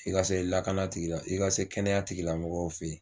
I ka se lakana tigila i ka se kɛnɛya tigi lamɔgɔw fɛ yen.